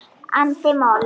andi moll.